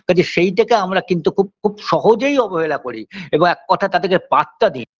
কাজেই সেইটাকে আমরা কিন্তু খুব খুব সহজেই অবহেলা করি এবং এককথায় তাদেরকে পাত্তা দিইনা